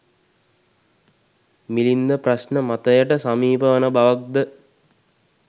මිලින්ද ප්‍රශ්න මතයට සමීප වන බවක් ද